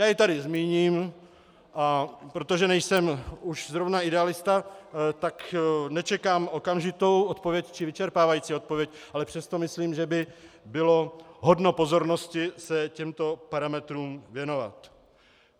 Já je tady zmíním a protože nejsem už zrovna idealista, tak nečekám okamžitou odpověď či vyčerpávající odpověď, ale přesto myslím, že by bylo hodno pozornosti se těmto parametrům věnovat.